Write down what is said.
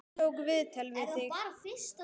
Hann tók viðtal við þig?